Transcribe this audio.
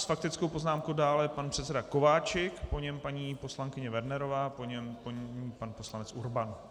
S faktickou poznámkou dále pan předseda Kováčik, po něm paní poslankyně Wernerová, po ní pan poslanec Urban.